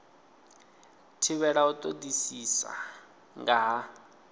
thivhelwa u todisisa nga ha